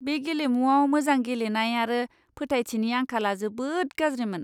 बे गेलेमुआव मोजां गेलेनाय आरो फोथायथिनि आंखालआ जोबोद गाज्रिमोन!